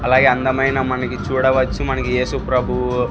అలాగే అందమైన మనకి చూడవచ్చు మనకి ఏసు ప్రభువు--